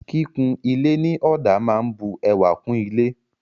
Kíkun ilé ní ọ̀dà máa ń bu ẹwà kún ilé.